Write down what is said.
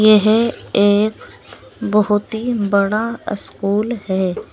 यह एक बहोत ही बड़ा स्कूल है।